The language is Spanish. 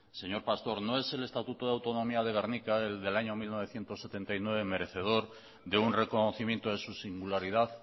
señor pastor no es el estatuto de autonomía de gernika el del año mil novecientos setenta y nueve merecedor de un reconocimiento de su singularidad